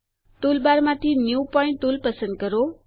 toolbar માંથી new point tool પસંદ કરો